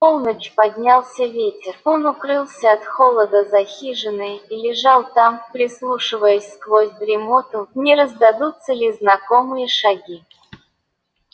в полночь поднялся ветер он укрылся от холода за хижиной и лежал там прислушиваясь сквозь дремоту не раздадутся ли знакомые шаги